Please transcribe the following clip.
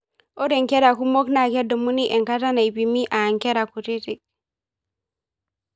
Ore nkera kumok naa kedumuni enkata naipimi aa ngera kutiti.